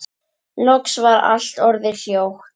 Loks var allt orðið hljótt.